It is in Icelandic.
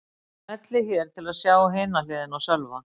Smellið hér til að sjá hina hliðina á Sölva